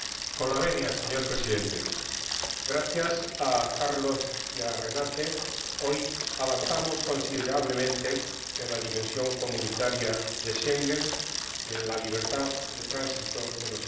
Señor Presidente, gracias a Carlos y a Renate hoy avanzamos considerablemente en la dimensión comunitaria de Schengen y en la libertad de tránsito de los ciudadanos.